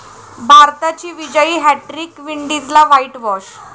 भारताची विजयी हॅटट्रिक, विंडीजला व्हाईटव्हाॅश